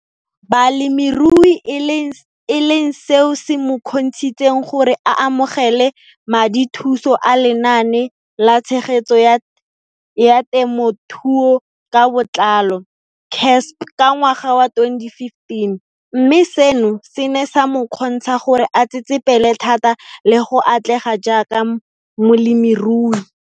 Balemirui e leng seo se mo kgontshitseng gore a amogele madithuso a Lenaane la Tshegetso ya Te mothuo ka Botlalo CASP ka ngwaga wa 2015, mme seno se ne sa mo kgontsha gore a tsetsepele thata le go atlega jaaka molemirui.